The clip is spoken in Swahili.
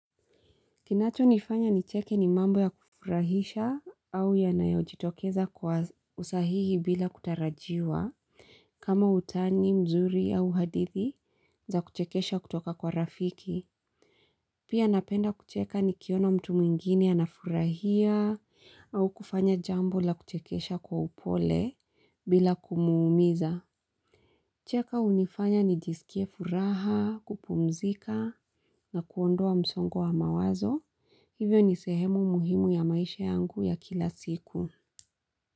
Kinachonifanya nicheke ni mambo ya kufurahisha au yanayojitokeza kwa usahihi bila kutarajiwa kama utani, mzuri au hadithi za kuchekesha kutoka kwa rafiki. Pia napenda kucheka nikiona mtu mwingine anafurahia au kufanya jambo la kuchekesha kwa upole bila kumuumiza. Kucheka hunifanya nijisikie furaha, kupumzika na kuondoa msongo wa mawazo. Hivyo ni sehemu muhimu ya maisha yangu ya kila siku.